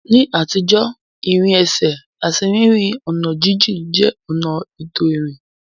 Ní àtijọ́, ìrìn ẹsẹ̀ àti rírin ọ̀nà jíjìn jẹ́ ọ̀nà ètò ìrìn.